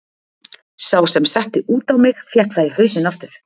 Sá sem setti út á mig fékk það í hausinn aftur.